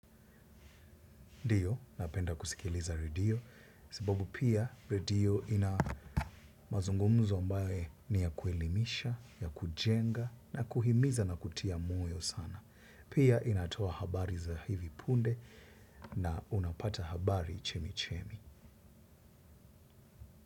Ndiyo, napenda kusikiliza redio. Sababu pia redio ina mazungumzo ambaye ni ya kuelimisha, ya kujenga na kuhimiza na kutia moyo sana. Pia inatoa habari za hivi punde na unapata habari chemichemi.